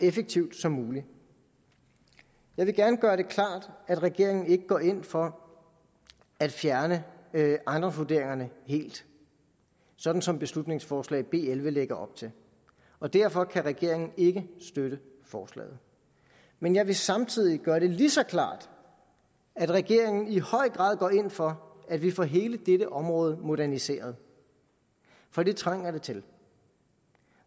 effektivt som muligt jeg vil gerne gøre det klart at regeringen ikke går ind for at fjerne ejendomsvurderingerne helt sådan som beslutningsforslag nummer b elleve lægger op til og derfor kan regeringen ikke støtte forslaget men jeg vil samtidig gøre det lige så klart at regeringen i høj grad går ind for at vi får hele dette område moderniseret for det trænger det til